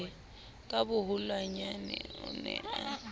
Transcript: ka boholonyana o ne a